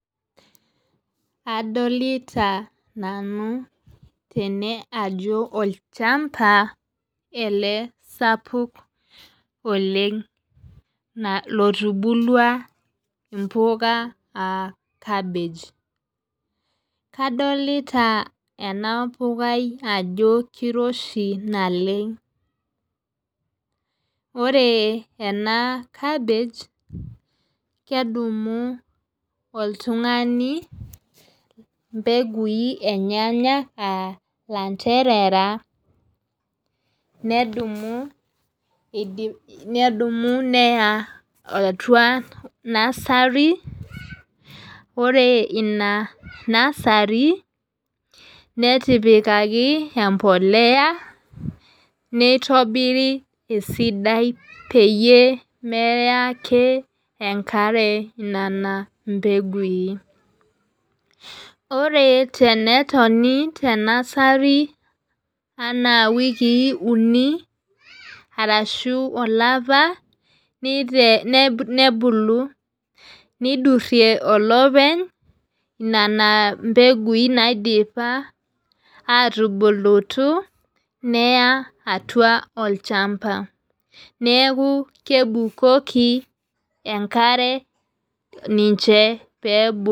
Adolita nanu tene ajo olchamba ele sapuk oleng' lotubulua imbukaa aa cabbage. Kadolita ena pukai ajo kiroshi naleng'. Ore enaa cabbage kedumu oltung'ani mbeguin enyenak aa ilanterera nedumu neya atua nursery. Ore ina nursery, netipikaki emboleya neitobiri esidai peyie meya ake enkare nena mbeguin. Ore tenetoni te nursery enaa iwikii uni arashu olapa nebulu neidurie olepeny nena mbeguin naidipa atubulutu neya atua olchamba neeku kebukoki enkare ninche pebulu